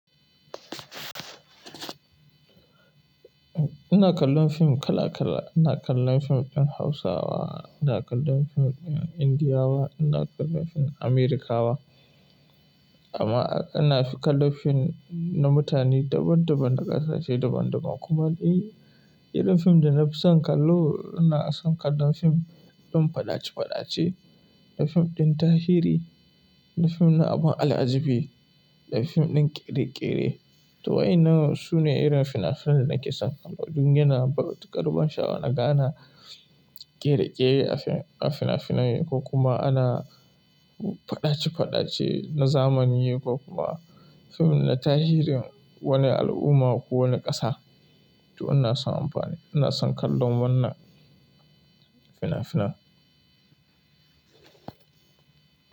Ina kallon fim kala-kala. Ina kallan fim ɗin Hausa, ina kallon fim ɗin Indiyawa, ina kallon fim Amerikawa. Amma, ina fi kallon fim, na mutane daban-daban, na kasashe daban-daban. Kuma eh, irin fim da na fi son kallo, ina son kallon fim, ɗin faɗace-faɗace, da fim ɗin tahiri, da fim na abun al'ajabi, da fim ɗin ƙere-ƙere. To wa'en nan sune irin fina-finan da nake son kallo. Dun ya na da matukar ban sha'awa, ka ga ana kere-kere a fim. A fina-finai, ko kuma ana, faɗace-faɗace na zamani ko kuma fim na tarihin wani al'umma ko wani ƙasa. To ina son amfani, ina son kallon wannan fina-finan.